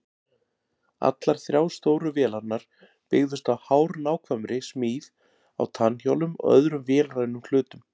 Allar þrjár stóru vélarnar byggðust á hárnákvæmri smíð á tannhjólum og öðrum vélrænum hlutum.